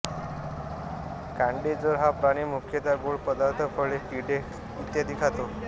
कांडेचोर हा प्राणी मुख्यतः गोड पदार्थ फळे किडे इ खातो